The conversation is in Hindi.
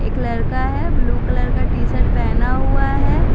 एक लड़का है ब्लू कलर का टी-शर्ट पहना हुआ है।